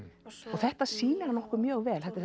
og þetta sýnir okkur mjög vel þetta